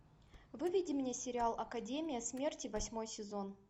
выведи мне сериал академия смерти восьмой сезон